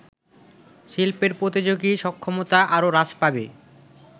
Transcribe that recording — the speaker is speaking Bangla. শিল্পের প্রতিযোগী সক্ষমতা আরও হ্রাস পাবে